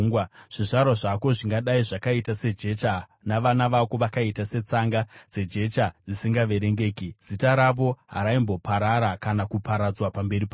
Zvizvarwa zvako zvingadai zvakaita sejecha, navana vako vakaita setsanga dzejecha dzisingaverengeki; zita ravo haraimboparara kana kuparadzwa pamberi pangu.”